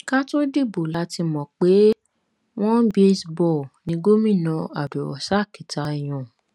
ká tóó dìbò la ti mọ pé ọnẹ baseball ni gómìnà abdulrozak tá a yàn